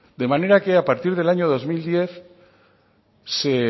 de manera que a partir del año dos mil diez se